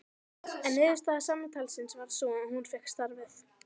En niðurstaða samtalsins varð sú að hún fékk starfið.